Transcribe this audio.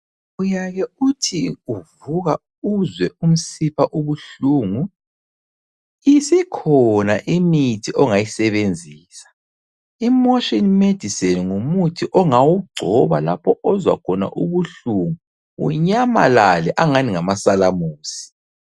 Uyake uthi uvuka uzwe umsipha ubuhlungu. Isikhona imithi ongayisebenzisa .IMotion Medicine ngumuthi ongawugcoba lapho ozwakhona ubuhlungu bunyamalale angathi ngamasalamusi.